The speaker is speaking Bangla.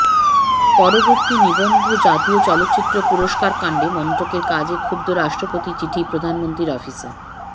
পরবর্তী নিবন্ধজাতীয় চলচিত্র পুরস্কার কাণ্ডে মন্ত্রকের কাজে ক্ষুব্ধ রাষ্ট্রপতির চিঠি প্রধানমন্ত্রীর অফিসে